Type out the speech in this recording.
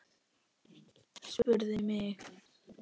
Spurðu mig.